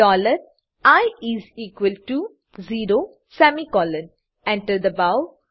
dollar i is equal to zero semicolon Enter enter દબાવો